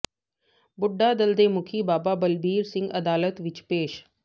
ਬੁੱਢਾ ਦਲ ਦੇ ਮੁਖੀ ਬਾਬਾ ਬਲਬੀਰ ਸਿੰਘ ਅਦਾਲਤ ਵਿੱਚ ਪੇਸ਼